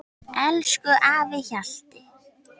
Elsku afi Hjalli.